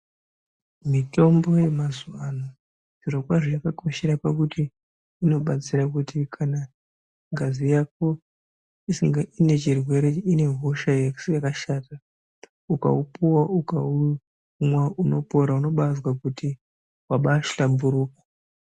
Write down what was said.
Mitombo yemazuva ano zvirokwazvo yakakoshera pakuti inobatsira kuti kana ngazi yako inechirwere , ine hosha yakashata, ukaupuwa ukaumwa unopora unobaazwa kuti wabaahlamburuka.